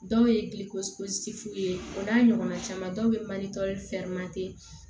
Dɔw ye gilisi fu ye o n'a ɲɔgɔnna caman dɔw be mandi